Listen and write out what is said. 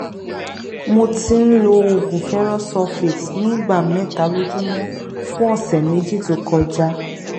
mo ti ń lo oògùn ferrous sulfate ní ìgbà mẹta lójúmọ fún ọsẹ méjì tó kọjá